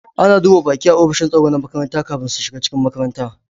Ana duba baƙi a offishin tsaro na makaranta kafin su shiga cikin makaranta